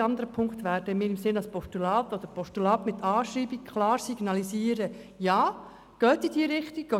Alle anderen Punkte werden wir als Postulat annehmen und gegebenenfalls abschreiben und damit signalisieren, dass man in diese Richtung gehen soll.